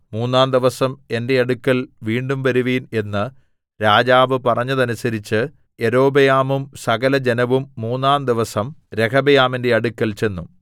മൂന്നാംദിവസം എന്റെ അടുക്കൽ വീണ്ടും വരുവിൻ എന്ന് രാജാവ് പറഞ്ഞതനുസരിച്ച് യൊരോബെയാമും സകലജനവും മൂന്നാംദിവസം രെഹബെയാമിന്റെ അടുക്കൽ ചെന്നു